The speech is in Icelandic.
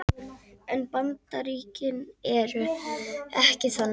En Bandaríkin eru ekki þannig